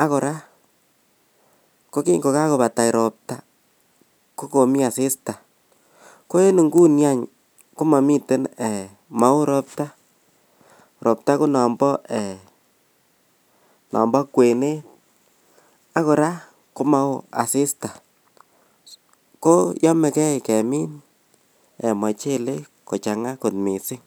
ak kora kogingogabota ropta kogomii asisita, ko en nguni any komomiten eeh maoo robta, obta konombo kwenet ak koraa komaoo asista, ko yomegee kemiin mochelek kochanga kot mising.